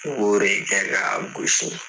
O yɛrɛ y'i da k'a gosi.